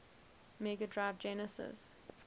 mega drive genesis